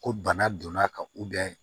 Ko bana donna ka